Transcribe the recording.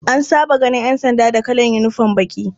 An saba ganin ƴanda da kalan unifom baƙi.